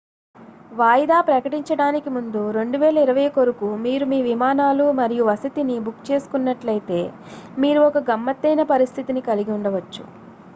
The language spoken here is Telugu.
వాయిదా ప్రకటించడానికి ముందు 2020 కొరకు మీరు మీ విమానాలు మరియు వసతిని బుక్ చేసుకున్నట్లయితే మీరు ఒక గమ్మత్తైన పరిస్థితిని కలిగి ఉండవచ్చు